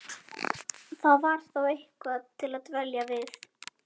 Það var þá eitthvað til að dvelja við.